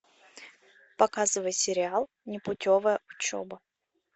показывай сериал непутевая учеба